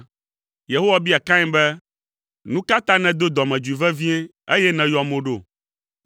Yehowa bia Kain be, “Nu ka ta nèdo dɔmedzoe vevie, eye nèyɔ mo ɖo?